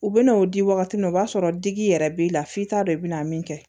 U bɛ n'o di wagati min na o b'a sɔrɔ digi yɛrɛ b'i la f'i t'a dɔn i bɛ na min kɛ